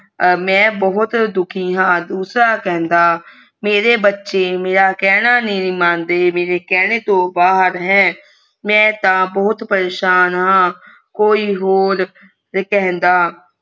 ਮੈਂ ਬਹੁਤ ਦੁਖੀ ਹਾਂ ਦੂਸਰਾ ਕਹਿੰਦਾ ਮੇਰੇ ਬੱਚੇ ਮੇਰਾ ਕਹਿਣਾ ਨੀ ਮੰਦੇ ਮੇਰੇ ਕਹਿਣੇ ਤੋਂ ਬਾਹਰ ਹੈ ਮਈ ਤਾਂ ਬਹੁਤ ਪਰੇਸ਼ਾਨ ਹਾਂ ਕੋਈ ਹੋਰ ਕਹਿੰਦਾ